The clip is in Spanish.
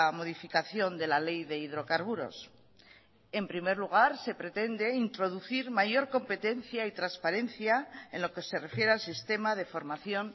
modificación de la ley de hidrocarburos en primer lugar se pretende introducir mayor competencia y transparencia en lo que se refiere al sistema de formación